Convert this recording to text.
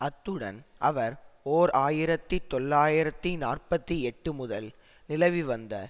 அத்துடன் அவர் ஓர் ஆயிரத்தி தொள்ளாயிரத்தி நாற்பத்தி எட்டு முதல் நிலவி வந்த